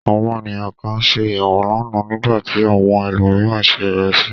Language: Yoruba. Àwọn ènìyàn kan se ẹ̀wà lánàá, nígbà tí àwọn ẹlòmíràn se ìrẹsì.